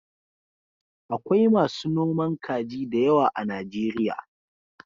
Akwai masu noman kaji da yawa a Najeriya.